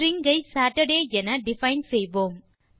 string ஐ Saturday என define செய்வோம்